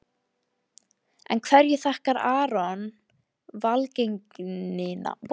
En hverju þakkar Aron velgengnina í sumar?